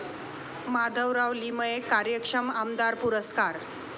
माधवराव लिमये कार्यक्षम आमदार पुरस्कार